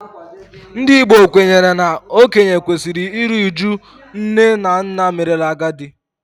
Ndị Igbo kwenyere na okenye kwesịrị iru uju nne na nna merela agadi